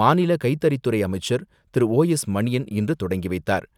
மாநில கைத்தறித் துறை அமைச்சர் திரு ஓ எஸ் மணியன் இன்று தொடங்கி வைத்தார்.